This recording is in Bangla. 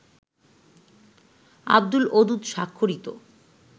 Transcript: আবদুলঅদুদ স্বাক্ষরিত